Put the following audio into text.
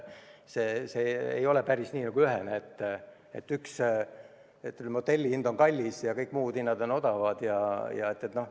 See ei ole päris nii ühene, et hotelli hind on kallis ja kõik muud hinnad on odavad.